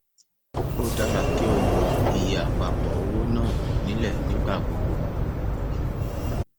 ó dára kí o mọ iye àpapọ owónàá nílẹ nígbà gbogbo